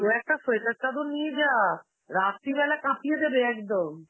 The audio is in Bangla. দু-একটা sweater, চাদর নিয়ে যা, রাত্রিবেলা কাঁপিয়ে দেবে একদম.